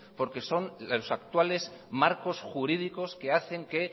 porque son los actuales marcos jurídicos que hacen que